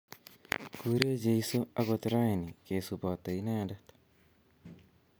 Kurech Jesu akot raini kesubote inendet